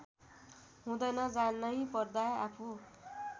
हुँदैन जानैपर्दा आफू